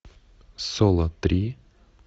соло три